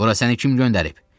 Bura səni kim göndərib?